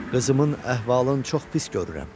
Qızımın əhvalın çox pis görürəm.